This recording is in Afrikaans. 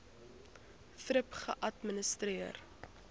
thrip geadministreer